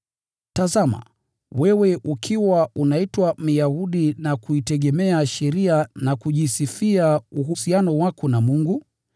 Tazama, wewe ukiwa unaitwa Myahudi na kuitegemea sheria na kujisifia uhusiano wako na Mungu,